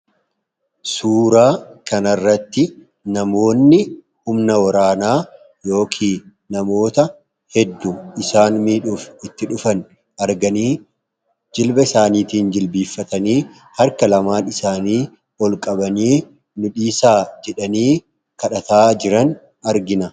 Suuraa kanarratti namoonni humna waraanaa yookiin namoota hedduu isaanitti dhufan arganii jilbasaaniitiin jilbeeffatanii harka lamaan isaanii ol qabanii nu dhiisaa jedhanii kadhataa jiran argina.